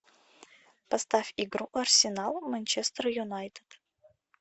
поставь игру арсенал манчестер юнайтед